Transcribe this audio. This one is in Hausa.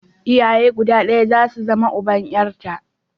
Iyaye guda ɗaya za su zama uban 'yarta.